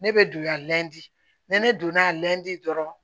Ne bɛ donya di ne donna a lɛnti dɔrɔn